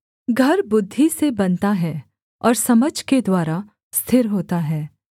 घर बुद्धि से बनता है और समझ के द्वारा स्थिर होता है